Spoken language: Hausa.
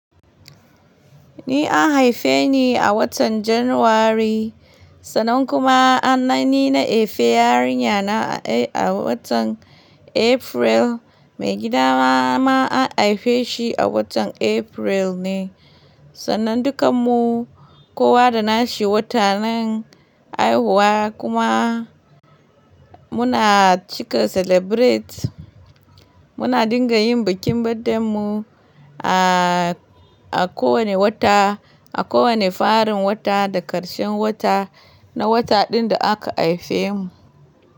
Ni an haife ni a watan January, sannan kuma anani na Efe yarinya na a watan April, maigida ma an haife shi a watan April ne. Sannan dukanmu kowa da nashi watannin haihuwa kuma muna cika celebrate. Muna dinga yin bikin birthday mu a, a kowane wata, a kowane farin wata da ƙarshen wata na wata ɗin da aka haife mu.